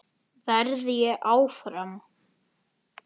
Verð ég áfram?